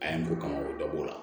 A ye mun kama o da b'o la